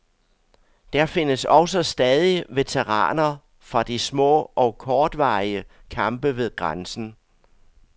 Der findes også stadig veteraner fra de små og kortvarige kampe ved grænsen.